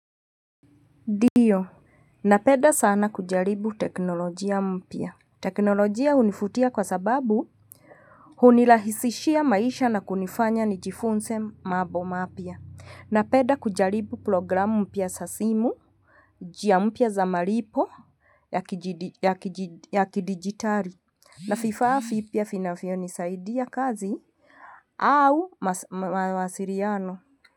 Ndio, napenda sana kujaribu teknolojia mpya. Teknolojia univutia kwa sababu hunirahisishia maisha na kunifanya nijifunze mambomapya. Napenda kujaribu programu mpya za simu. Njia mpya za malipo ya kidigitali na vifaa vipya vinavyonisaidia kazi au mawasiliano.